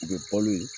U bɛ balo ye